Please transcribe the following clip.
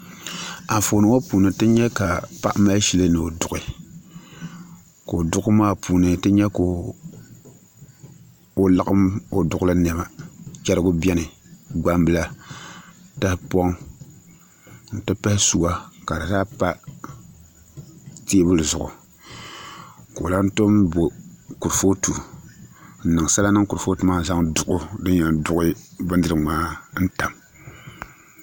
Anfooni ŋo puuni ti nyɛ ka paɣa mali shili ni o duɣu ka o Duɣuli maa puuni ti nyɛ ka o laɣam o Duɣuli niɛma chɛrigi biɛni gbambila tahapoŋ n ti pahi suwa ka di zaa pa teebuli zuɣu ka o lahi tom bo kurifooti n niŋ sala niŋ kurifooti maa ni n zaŋ duɣu din yɛn duɣu bindirigu maa tam